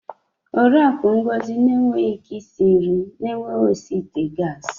Oriakụ Ngozi enweghị ike isi nri na-enweghị osi ite gas.